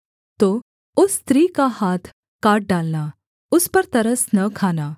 तो उस स्त्री का हाथ काट डालना उस पर तरस न खाना